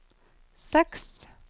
seks